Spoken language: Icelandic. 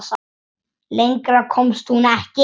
Lengra komst hún ekki.